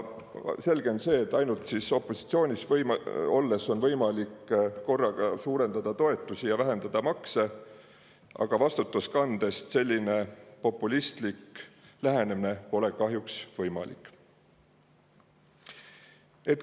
Selge on see, et ainult opositsioonis olles on võimalik korraga suurendada toetusi ja vähendada makse, aga vastutust kandes selline populistlik lähenemine pole kahjuks võimalik.